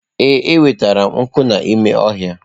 Ee, enwetara m nkụ n'ime ọhịa.